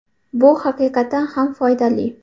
Bu haqiqatan ham foydali.